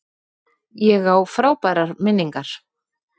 Ég á frábærar minningar.